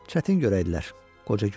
Çətin görərdilər, qoca gülümsədi.